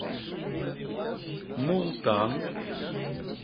мултан